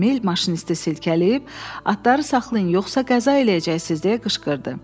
Emil maşinisti silkələyib, atları saxlayın, yoxsa qəza eləyəcəksiniz, deyə qışqırdı.